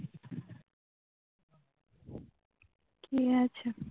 কি হয়েছে